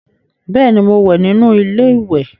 Beeni, mo wẹ́ nínú ilé ìwẹ̀